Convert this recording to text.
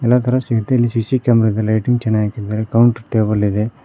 ಎಲ್ಲಾ ತರ ಸಿಟಿ ಲಿ ಸಿ_ಸಿ ಕ್ಯಾಮೆರಾ ಇದೆ ಲೈಟಿಂಗ್ ಚೆನ್ನಾಗ್ ಹಾಕಿದ್ದಾರೆ ಕೌಂಟ್ ಟೇಬಲ್ ಇದೆ.